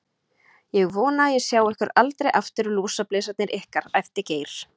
Ég vona að ég sjái ykkur aldrei aftur, lúsablesarnir ykkar, æpti Geir.